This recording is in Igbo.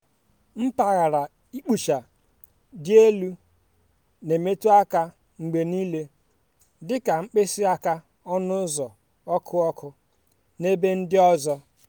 mpaghara ịkpụcha dị elu na-emetụ aka mgbe niile dị ka mkpịsị aka ọnụ ụzọ ọkụ ọkụ na ebe ndị ọzọ.